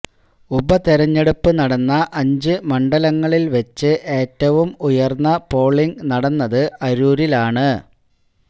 ഉപതെരഞ്ഞെടുപ്പ് നടന്ന അഞ്ച് മണ്ഡലങ്ങളില് വെച്ച് ഏറ്റവും ഉയര്ന്ന പോളിംഗ് നടന്നത് അരൂരിലാണ്